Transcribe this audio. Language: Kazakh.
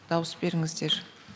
дауыс беріңіздер